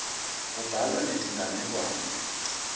kubhalwa netinganekwane